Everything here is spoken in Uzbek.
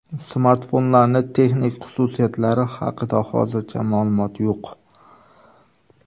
Smartfonlarning texnik xususiyatlari haqida hozircha ma’lumot yo‘q.